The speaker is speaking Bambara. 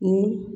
Ni